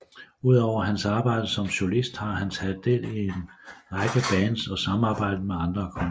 Udover hans arbejde som solist har han taget del i en række bands og samarbejder med andre kunstnere